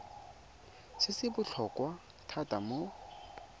se se botlhokwa thata mo